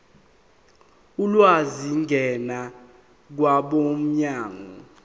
ulwazi ngena kwabomnyango